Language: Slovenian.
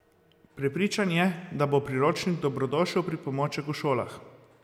Prepričan je, da bo priročnik dobrodošel pripomoček v šolah.